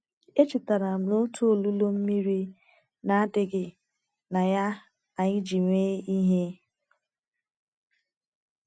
Echetara m otu olulu mmiri na - adịghị na ya anyị ji mee ihe.